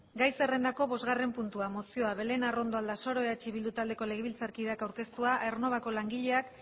gai zerrrendako bostgarren puntua mozioa belén arrondo aldasoro eh bildu taldeko legebiltzarkideak aurkeztua aernnovako langileak